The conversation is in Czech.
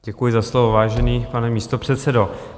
Děkuji za slovo, vážený pane místopředsedo.